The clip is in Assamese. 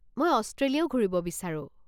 মই অষ্ট্ৰেলিয়াও ঘূৰিব বিচাৰো।